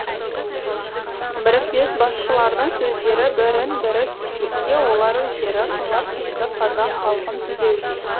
бірікпес басшылардың сөздері бірін бірі кекетсе олар өздері қыңыр қисық қазақ халқын түзеуге